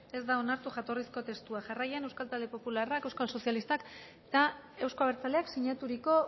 ez da onartu jatorrizko testua jarraian euskal talde popularrak euskal sozialistak eta euzko abertzaleak sinaturiko